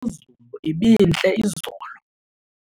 Imozulu ibintle izolo.